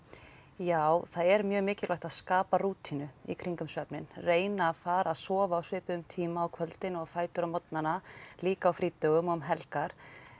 já það er mjög mikilvægt að skapa rútínu í kringum svefninn reyna að fara að sofa á svipuðum tíma á kvöldin og á fætur á morgnana líka á frídögum og um helgar